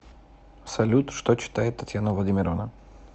салют что читает татьяна владимировна